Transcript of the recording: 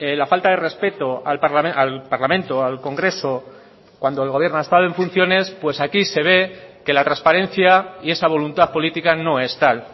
la falta de respeto al parlamento al congreso cuando el gobierno ha estado en funciones pues aquí se ve que la transparencia y esa voluntad política no es tal